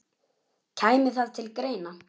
Kæmi það til greina?